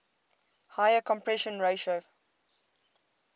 higher compression ratio